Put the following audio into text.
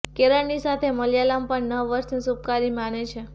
કેરળની સાથે મલયાલમ પણ નવ વર્ષને શુભકારી માને છે